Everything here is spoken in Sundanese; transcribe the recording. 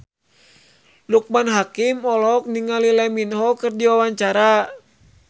Loekman Hakim olohok ningali Lee Min Ho keur diwawancara